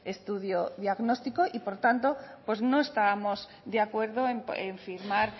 estudio diagnóstico y por tanto pues no estábamos de acuerdo en firmar